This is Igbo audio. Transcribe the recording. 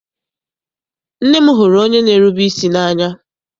Nne m hụrụ onye n'erube isi n'anya.